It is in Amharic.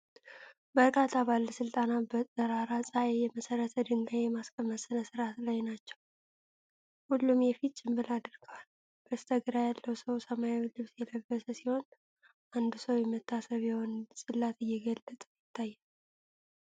በርካታ ባለሥልጣናት በጠራራ ፀሐይ የመሠረት ድንጋይ የማስቀመጥ ሥነ-ስርዓት ላይ ናቸው። ሁሉም የፊት ጭንብል አድርገዋል። በስተግራ ያለው ሰው ሰማያዊ ልብስ የለበሰ ሲሆን፣ አንዱ ሰው የመታሰቢያውን ጽላት እየገለጠ ይታያል።